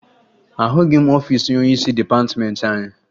Ahụghị ọfiisi onyeisi dịpatịmeentị anyị